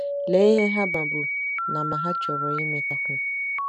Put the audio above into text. Lee ihe ha mabu na ma hà chọrọ ịmatakwu.